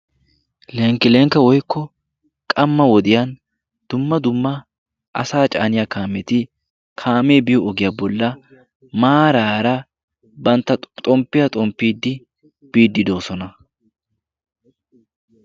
lenkki lenkka woikko qamma wodiyan dumma dumma asa caaniya kaameti kaamee biyo ogiyaa bolla maaraara bantta xomppiyaa xomppiiddi biiddi doosona